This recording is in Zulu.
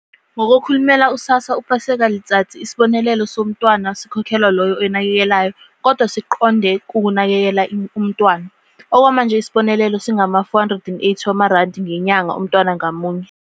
NgokoKhulumela u-SASSA u-Paseka Letsatsi, isibonelelo somntwana sikhokhelwa loyo oyinakekelayo, kodwa siqonde ukunakekela umntwana. Okwamanje isibonelelo singama-R480 ngenyanga umntwana ngamunye.